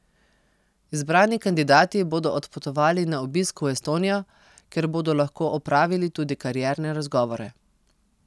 Izbrani kandidati bodo odpotovali na obisk v Estonijo, kjer bodo lahko opravili tudi karierne razgovore.